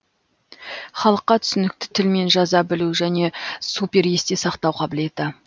халыққа түсінікті тілмен жаза білу және супер есте сақтау қабілеті